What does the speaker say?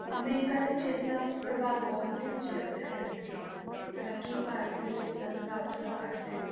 America ਵਿੱਚ ਇਸਦਾ ਪ੍ਰਭਾਵ ਬਹੁਤ ਹੀ ਜ਼ਿਆਦਾ ਹੈਗਾ ਹੈ, ਹਾਲਾਂਕਿ ਭਾਰਤ ਵਿੱਚ ਇਸਦਾ ਪ੍ਰਭਾਵ ਥੋੜ੍ਹਾ ਘੱਟ ਹੈ,